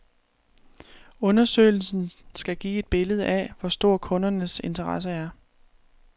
Undersøgelsen skal give et billede af, hvor stor kundernes interesse er.